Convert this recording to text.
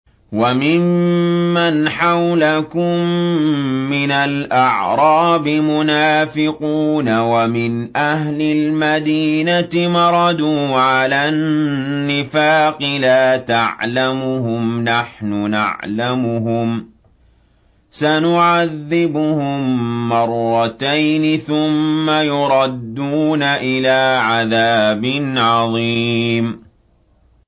وَمِمَّنْ حَوْلَكُم مِّنَ الْأَعْرَابِ مُنَافِقُونَ ۖ وَمِنْ أَهْلِ الْمَدِينَةِ ۖ مَرَدُوا عَلَى النِّفَاقِ لَا تَعْلَمُهُمْ ۖ نَحْنُ نَعْلَمُهُمْ ۚ سَنُعَذِّبُهُم مَّرَّتَيْنِ ثُمَّ يُرَدُّونَ إِلَىٰ عَذَابٍ عَظِيمٍ